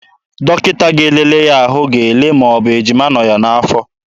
Dọkịta ga-elele ya ahụ ịma ma ọ bụ ejima nọ ya n'afọ.